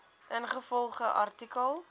ingevolge artikel